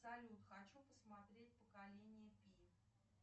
салют хочу посмотреть поколение пи